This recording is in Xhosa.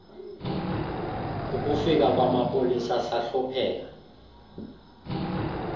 kukufika kwamapolisa sahlupheka